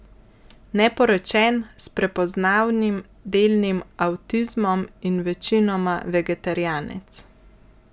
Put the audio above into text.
Neporočen, s prepoznanim delnim avtizmom in večinoma vegetarijanec.